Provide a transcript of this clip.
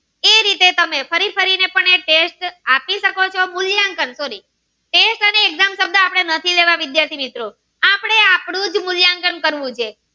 તે તમે ફરી ફરી ને પણ એ test આપી શકો ચો મૂલ્યાંકન sorry તે અને exam તેમાં નથી લેવા વિદ્યાર્થી મિત્રો આપડે આ નું જ મૂલ્યાંકન કરવું છે